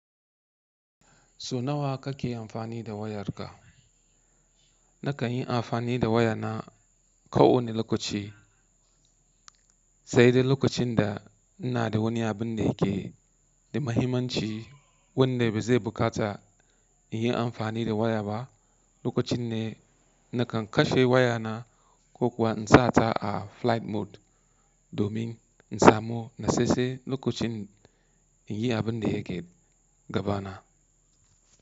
Sau nawa kake amfani da wayarka? Nakan yi amfani da wayana kawani lokaci. Sai dai lokacin da ina da wani abin da yake da muhimmanci wanda ba zai buƙata in yi amfani da waya ba. Lokacin ne nakan kashe wayana ko kuwa in sa ta a flight mode domin in samu na tsatstsan lokacin in yi abin da yake gabana.